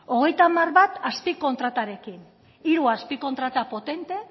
hogeita hamar bat azpikontratarekin hiru azpikontrata potente